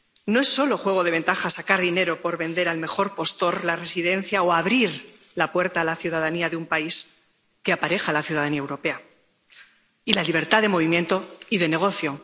No es solo juego de ventaja sacar dinero por vender al mejor postor la residencia o abrir la puerta a la ciudadanía de un país que apareja la ciudadanía europea y la libertad de movimiento y de negocio.